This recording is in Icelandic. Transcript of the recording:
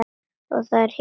Og þar héngum við.